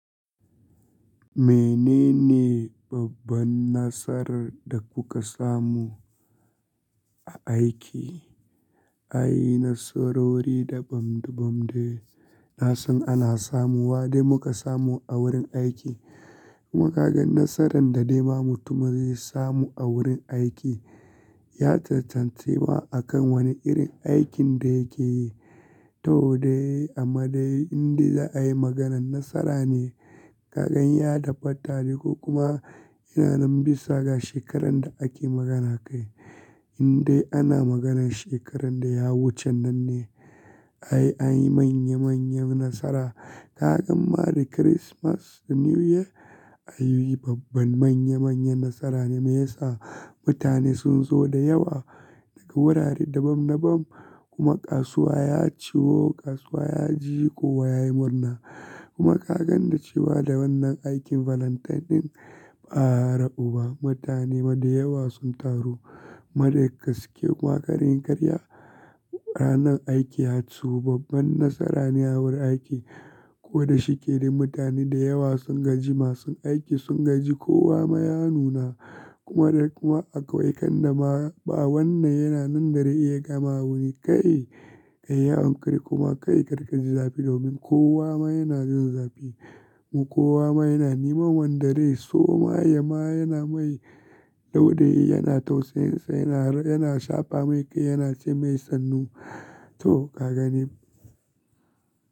Menene babban nasarar da kuka samu a aiki? Ai nasarori dabam-dabam de na san ana samu wa dai muka samu a wurin aiki. Kuma kaga nasaran da dai ma mutum ma zai samu a wurin aiki ya caccancima a kan wani irin aikin da yake yi. To dai amma dai in dai za a yi maganan nasara ne, kaganya tabbata ne ko kuma ina nan bisa ga shekaran da ake magana a kai. In dai ana maganan shekaran da ya wucen nan ne, ai anyi manya manyan nasara. Ka gan ma da Kirismas da New Year ayi babban manya manyan nasara ne mai yasa mutane sun zo da yawa daga wurare dabam-dabam kuma kasuwa ya ciwo, kasuwa ya ji kowa yayi murna. Kuma ka ganda cewa da wannan aikin Valentine ɗin ba'a ra'u ba, mutane ma da yawa sun taru. Ma da gaske kuma kar in karya ranan aiki ya ciwu babban nasara ne a wurin aiki. Ko da shike dai mutane da yawa sun gaji, masu aiki sun gaji kowa ma ya nuna kuma da kuma akwai kan dama ba wannan yana nan da rai ya gama wuni kai, kai ya ankuri kuma kai karka ji zafi domin kowa ma yana jin zafi. Kowa ma yana neman wanda dai so ma ya ma yana mai dau dayi yana tausayinsa, yana ra yana shafe mai kai yana ce mai sannu. To kagani.